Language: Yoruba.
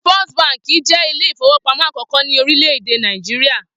First Baǹkì jé Ilé-ìfowópamó àkókó ní orílè èdè Nàìjíríà.